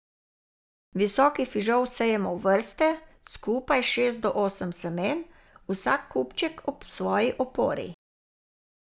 Visoki fižol sejemo v vrste, skupaj šest do osem semen, vsak kupček ob svoji opori.